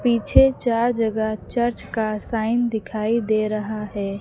पीछे चार जगह चर्च का साइन दिखाई दे रहा है।